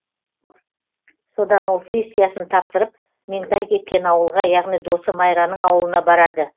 содан ол сессиясын тапсырып меңтай кеткен ауылға яғни досы майраның ауылына барады